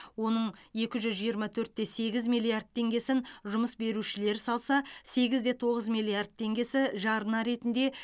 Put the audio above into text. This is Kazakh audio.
оның екі жүз жиырма төрт те сегіз миллиард теңгесін жұмыс берушілер салса сегіз де тоғыз миллиард теңгесі жарна ретінде